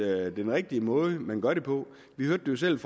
den rigtige måde man gør det på vi hørte jo selv i